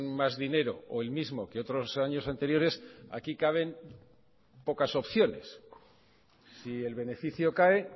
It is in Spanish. más dinero o el mismo que otros años anteriores aquí caben pocas opciones si el beneficio cae